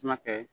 Kuma kɛ